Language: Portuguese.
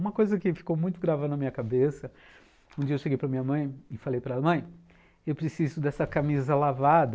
Uma coisa que ficou muito grave na minha cabeça, um dia eu cheguei para minha mãe e falei para ela, mãe, eu preciso dessa camisa lavada.